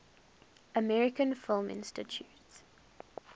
american film institute